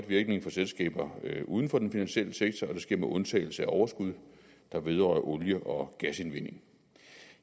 virkning for selskaber uden for den finansielle sektor og det sker med undtagelse af overskud der vedrører olie og gasindvinding